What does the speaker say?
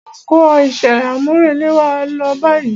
Máa kó iṣẹ́ àmúrelé wa lọ báyìí.